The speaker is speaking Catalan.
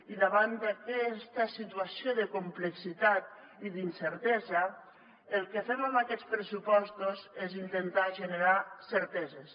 i davant d’aquesta situació de complexitat i d’incertesa el que fem amb aquests pressupostos és intentar generar certeses